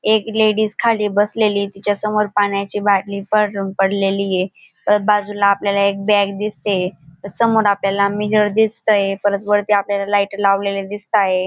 एक लेडीज खाली बसलेली तिच्यासमोर पाण्याची बाटली पडून पडलेली आहे परत बाजूला आपल्याला एक बॅग दिसते समोर आपल्याला मिरर दिसतोय परत वरती आपल्याला लाईट लावलेले दिसत आहेत.